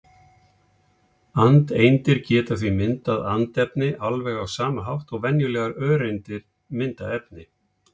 Andeindir geta því myndað andefni alveg á sama hátt og venjulegar öreindir mynda efni.